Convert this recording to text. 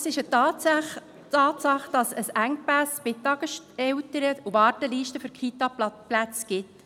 Es ist eine Tatsache, dass es Engpässe bei den Tageseltern und Wartelisten für Kita-Plätze gibt.